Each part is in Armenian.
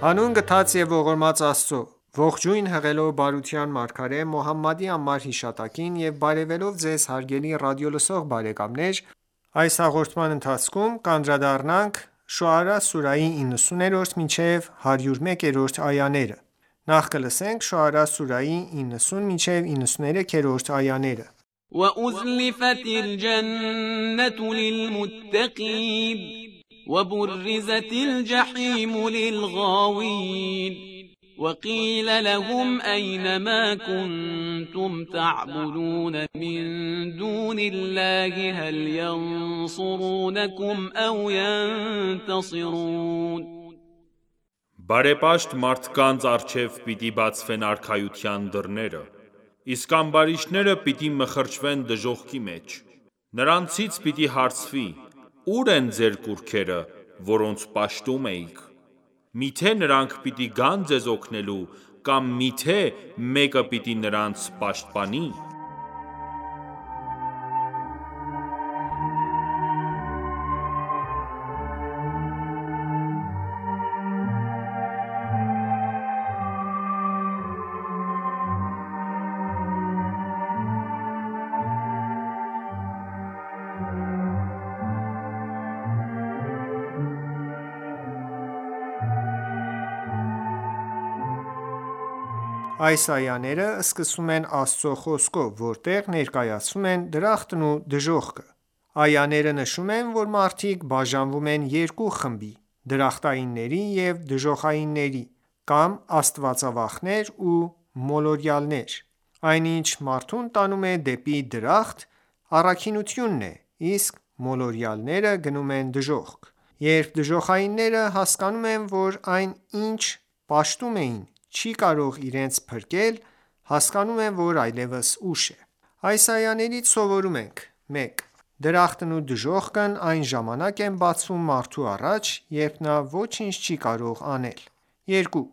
Հանուն գթած և ողորմած Աստծո:Ողջույն հղելով բարության մարգարե Մոհամմադի անմար հիշատակին եւ բարեւելով Ձեզ հարգելի ռադիոլսող բարեկամներ ներկայացնում ենք «Ելք դեպի լույս» հաղորդումը, Ղուրանի մատչելի մեկնաբանությամբ: Շոարա սուրահի 90-93-րդ այաներ وَأُزْلِفَتِ الْجَنَّةُ لِلْمُتَّقِینَ وَبُرِّزَتِ الْجَحِیمُ لِلْغَاوِینَ وَقِیلَ لَهُمْ أَیْنَ مَا کُنتُمْ تَعْبُدُونَ مِنْ دُونِ اللَّـهِ هَلْ یَنْصُرُونَکُمْ أَوْ یَنْتَصِرُونَ Բարեպաշտ մարդկանց առջև պիտի բացվեն արքայության դռները: Իսկ ամբարիշտները պիտի մխրճվեն դժոխքի մեջ: Նրանցից պիտի հարցվի. Ու՞ր են ձեր կուռքերը, որոնց պաշտում էիք: Միթե՞ նրանք պիտի գան ձեզ օգնելու, կամ միթե՞ մեկը պիտի նրանց պաշտպանի: Այս այաները, սկսվում են Աստծո խոսքով, որտեղ ներկայացվում են դրախտն ու դժոխքը: Այաները նշում են, որ մարդիկ բաժանվում են երկու խմբի՝ դրախտայիններ ու դժոխայիններ, կամ աստվածավախներ ու մոլորյալներ: Այն ինչ մարդուն տանում է դեպի դրախտ, առաքինոությունն է, իսկ մոլորյալները գնում են դժոխք: Երբ դժոխայինները հասկանում են, որ այն, ինչ պաշտում էին, չի կարող իրենց փրկել, հասկանում են, որ այլևս ուշ է: Այս այաներից սովորում ենք. 1. Դրախտն ու դժոխքն այն ժամանակ են բացվում մարդու առաջ, երբ նա ոչինչ չի կարող անել: 2.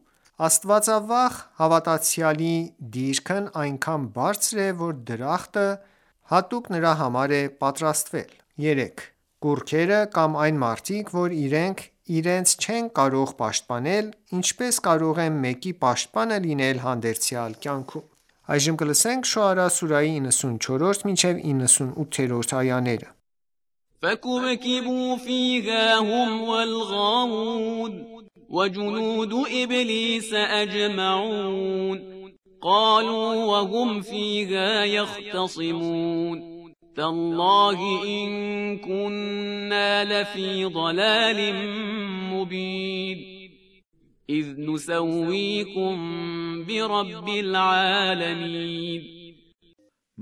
Աստվածավախ հավատացյալի դիրքն այնքան բարձր է, որ դրախտը հատուկ նրա համար է պատրաստվել: 3. Կուռքերը, կամ այն մարդիկ, որ իրենք իրենց չեն կարող պաշտպանել, ինչպե՞ս կարող են մեկի պաշտպանը լինել հանդերձյալ կյանքում: Շոարա սուրահի 94-98-րդ այաներ فَکُبْکِبُوا فِیهَا هُمْ وَالْغَاوُونَ وَجُنُودُ إِبْلِیسَ أَجْمَعُونَ قَالُوا وَهُمْ فِیهَا یَخْتَصِمُونَ تَاللَّهِ إِن کُنَّا لَفِی ضَلَالٍ مُّبِینٍ إِذْ نُسَوِّیکُم بِرَبِّ الْعَالَمِینَ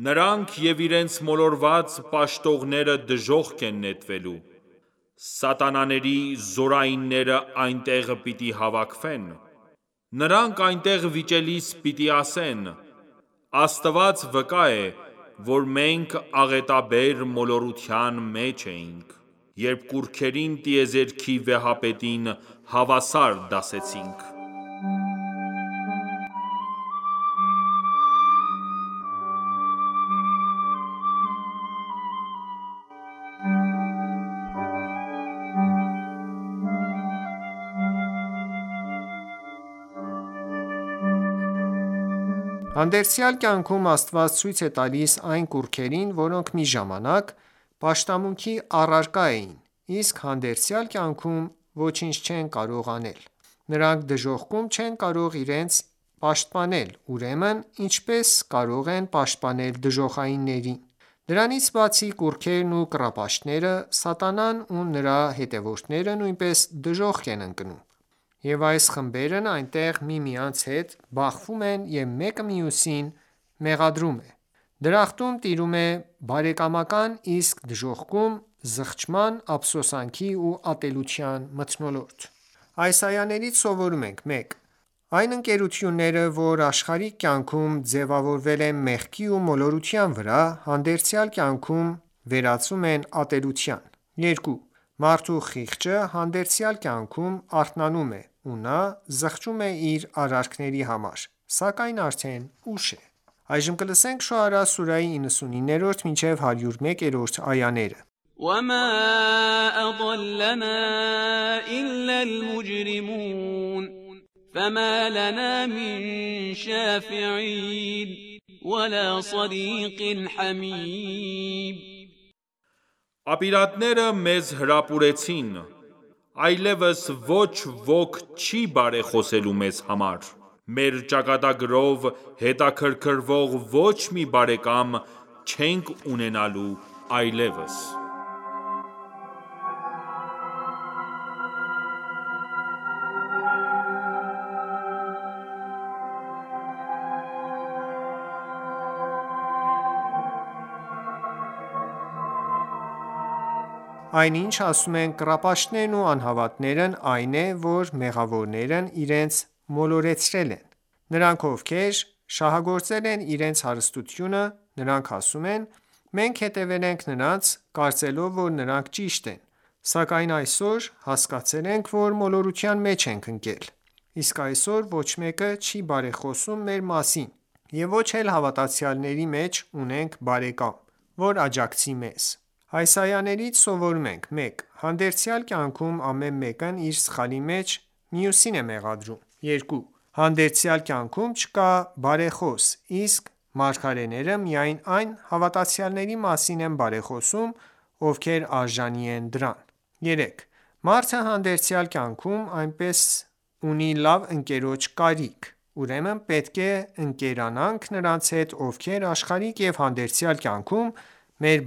Նրանք և իրենց մոլորված պաշտողները դժոխք են նետվելու: Սատանաների զորայինները այնտեղ պիտի հավաքվեն: Նրանք այնտեղ վիճելիս պիտի ասեն: Աստված վկա է,որ մենք աղետաբեր մոլորության մեջ էինք: Երբ կուռքերին տիեզերքի վեհապետին հավասար դասեցինք: Հանդերձյալ կյանքում Աստված ցույց է տալիս այն կուռքերին, որոնք մի ժամանակ պաշտամունքի առարկա էին, իսկ հանդերձյալ կյանքում ոչինչ չեն կարող անել: Նրանք դժոխքում չեն կարող իրենք իրենց պաշտպանել, ուրեմն ինչպե՞ս կարող են պաշտպանել դժոխայիններին: Դրանից բացի, կուռքերն ու կռապաշտները, սատանան ու նրա հետևորդները նույնպես դժոխք են ընկնում: Եվ այս խմբերն այնտեղ միմյանց հետ բախվում են և մեկը մյուսին մեղադրում: Դրախտում տիրում է բարեկամական, իսկ դժոխքում ՝ զղջման, ափսոսանքի ու ատելության մթնոլորտ: Այս այաներից սովորում ենք. 1. Այն ընկերությունները, որ աշխարհիկ կյանքում ձևավորվել են մեղքի ու մոլորության վրա, հանդերձյալ կյանքում վերածվում են ատելության: 2. Մարդու խիղճը հանդերձյալ կյանքում արթնանում է ու նա զղջում է իր արարքների համար, սակայն արդեն ուշ է: Շոարա սուրահի 99-101-րդ այաներ وَمَا أَضَلَّنَا إِلَّا الْمُجْرِمُونَ Ապիրատները մեզ հրապուրեցին: Այլևս ոչ ոք չի բարեխոսելու մեզ համար: Մեր ճակատագրով հետաքրքրվող ոչ մի բարեկամ չենք ունենալու այլևս: Այն ինչ ասում են կռապաշտներն ու անհավատներն, այն է, որ մեղավորներն իրենց մոլորեցրել են: Նրանք, ովքեր շահագործել են իրենց հարստությունը: Նրանք ասում են. Մենք հետևել ենք նրանց, կարծելով, որ նրանք ճիշտ են, սակայն այսօր հասկացել ենք, որ մոլորության մեջ ենք ընկել: Ւսկ այսօր ոչ մեկը չի բարեխոսում մեր մասին և ոչ էլ հավատացյալների մեջ ունենք բարեկամ, որ աջակցի մեզ: Այս այաներից սովորում ենք. 1. Հանդերձյալ կյանքում ամեն մեկն իր սխալի մեջ մյուսին է մեղադրում: 2. Հանդերձյալ կյանքում չկա բարեխոս, իսկ մագարեները միայն այն հավատացյալների մասին են բարեխոսում, ովքեր արժանի են դրան: 3. Մարդը հանդերձյալ կյանքում նույնպես ունի լավ ընկերոջ կարիք: Ուրեմն պետք է ընկերանանք նրանց հետ, ովքեր աշխարհիկ և հանդերձյալ կյանքում մեր